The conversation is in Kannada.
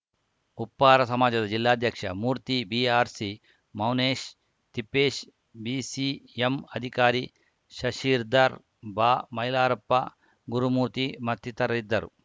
ಉಪ್ಪಾರ ಸಮಾಜದ ಜಿಲ್ಲಾಧ್ಯಕ್ಷ ಮೂರ್ತಿ ಬಿಆರ್‌ಸಿ ಮೌನೇಶ್‌ ತಿಪ್ಪೇಶ್‌ ಬಿಸಿಎಂ ಅಧಿಕಾರಿ ಶಶಿರ್ದಾರ್‌ ಬಾಮೈಲಾರಪ್ಪ ಗುರುಮೂರ್ತಿ ಮತ್ತಿತರರಿದ್ದರು